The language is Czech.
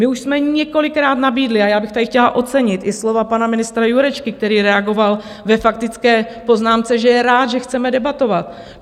My už jsme několikrát nabídli, a já bych tady chtěla ocenit i slova pana ministra Jurečky, který reagoval ve faktické poznámce, že je rád, že chceme debatovat.